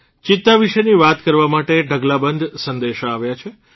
ચિત્તા વિશે વાત કરવા માટે ઢગલાબંધ સંદેશા આવ્યા છે